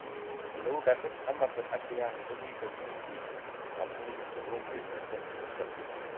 ole u ole khalif , amazon ak diani ko ki ko mi bik amun ukonjwet nito